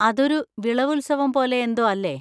അതൊരു വിളവുത്സവം പോലെ എന്തോ അല്ലേ?